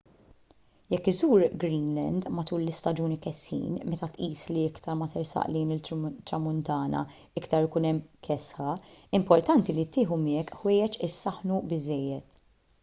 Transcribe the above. jekk iżżur greenland matul l-istaġuni kesħin meta tqis li iktar ma tersaq lejn it-tramuntana iktar ikun hemm kesħa importanti li tieħu miegħek ħwejjeġ isaħħnu biżżejjed